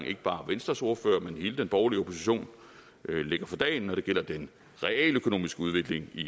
ikke bare venstres ordfører men hele den borgerlige opposition lægger for dagen når det gælder den realøkonomiske udvikling i